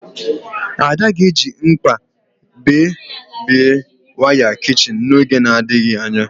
Ada ga-eji mkpa bébie waya kichin n'oge na-adịghị anya